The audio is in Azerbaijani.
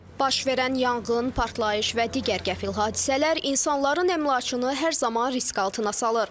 Baş verən yanğın, partlayış və digər qəfil hadisələr insanların əmlakını hər zaman risk altına salır.